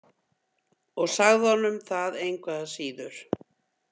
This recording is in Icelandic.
Og sagði honum það engu að síður.